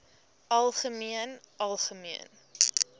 algemeen algemeen